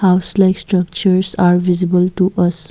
House like structures are visible to us.